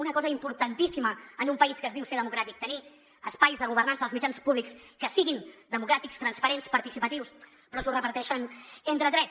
una cosa importantíssima en un país que es diu ser democràtic tenir espais de governança dels mitjans públics que siguin democràtics transparents participatius però s’ho reparteixen entre tres